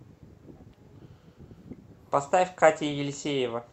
поставь катя елисеева